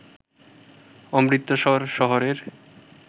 অমৃতসর শহরের